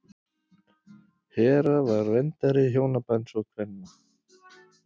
Hera var verndari hjónabands og kvenna.